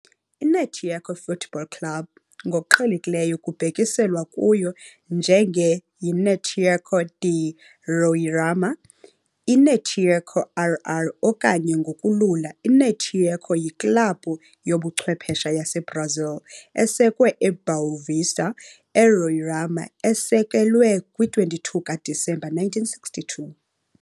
I-Náutico Futebol Clube, ngokuqhelekileyo kubhekiselwa kuyo njenge yi-Náutico de Roraima, i-Náutico-RR okanye ngokulula i-Náutico yiklabhu yobuchwephesha yaseBrazil esekwe eBoa Vista, eRoraima esekelwe kwi-22 kaDisemba 1962.